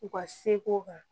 U ka seko kan